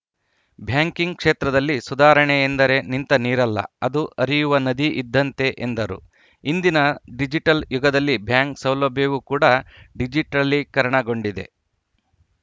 banking ಕ್ಷೇತ್ರದಲ್ಲಿ ಸುಧಾರಣೆ ಎಂದರೆ ನಿಂತ ನೀರಲ್ಲ ಅದು ಹರಿಯುವ ನದಿ ಇದ್ದಂತೆ ಎಂದರು ಇಂದಿನ ಡಿಜಿಟಲ್‌ ಯುಗದಲ್ಲಿ ಬ್ಯಾಂಕ್‌ ಸೌಲಭ್ಯವೂ ಕೂಡ ಡಿಜಿಟಲೀಕರಣಗೊಂಡಿದೆ